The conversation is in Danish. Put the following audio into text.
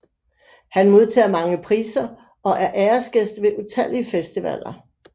Han modtager mange priser og er æresgæst ved utallige festivaler